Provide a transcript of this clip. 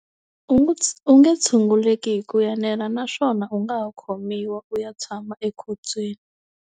U nge u nge tshunguleki hi ku enela naswona u nga ha khomiwa u ya tshama ekhotsweni.